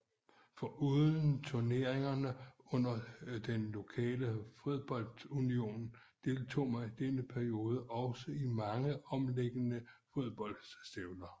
Foruden turneringerne under den lokale fodboldunion deltog man denne periode også i mange omkringliggende fodboldstævner